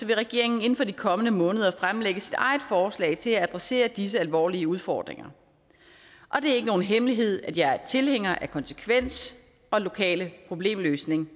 vil regeringen inden for de kommende måneder fremlægge sit eget forslag til at adressere disse alvorlige udfordringer og det er ikke nogen hemmelighed at jeg er tilhænger af konsekvens og lokal problemløsning